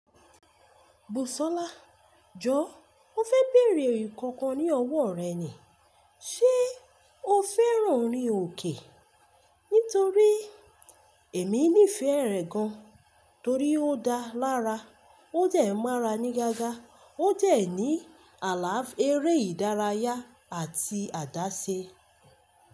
Busola, jọ mo fè bèèrè nkankan ní ọwọ rẹ ni. Ṣé o féràn orin òkè? Nítorí èmi nífẹ̀ẹ́ rẹ̀ gan, torí ó dá lára, ó jẹ̀ mọ́ra ní gágá, ó jẹ̀ ní àláfíà eré ìdárayá àti àdáṣe.